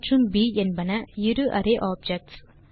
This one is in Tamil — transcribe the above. ஆ மற்றும் ப் என்பன இரு அரே ஆப்ஜெக்ட்ஸ்